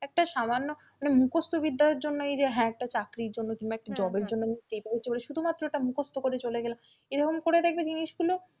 একটা সামান্য মানে মুখস্তবিদ্যার জন্য এই যে হ্যাঁ একটা চাকরির জন্য কিংবা একটা job এর জন্য আমি শুধুমাত্রটা মুখস্ত করে চলে গেলাম এভাবে করে দেখবে জিনিসগুলো,